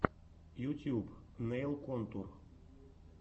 ютьюб нэйл контур